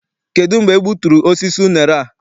Kedụ mgbe e gbuturu osisi unere a?